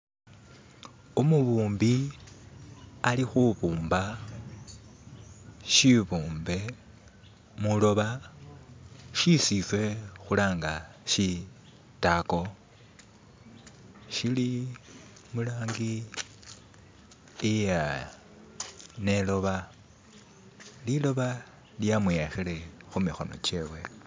Umubumbi ali kubumba shibumbe muliloba shesi iffe kulanga shitaago shili mulangi iya nelooba, lidoyi lyamwiyakile kumikono gyewe.